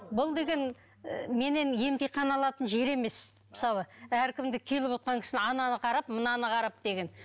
бұл деген ы менен емтихан алатын жер емес мысалы әркімді келіп отырған кісіні ананы қарап мынаны қарап деген